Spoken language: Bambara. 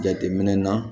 Jateminɛ na